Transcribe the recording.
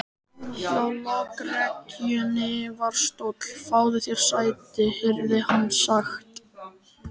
Hjá lokrekkjunni var stóll: Fáðu þér sæti, heyrði hann sagt.